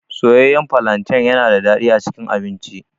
Soyayyan falanten yana da daɗi a cikin abinci.